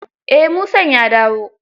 Eh Musan ya dawo.